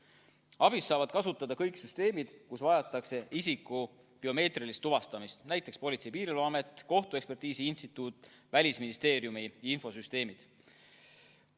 ABIS-t saavad kasutada kõik süsteemid, kus vajatakse isiku biomeetrilist tuvastamist, näiteks Politsei- ja Piirivalveamet, Eesti Kohtuekspertiisi Instituut, Välisministeeriumi infosüsteemid.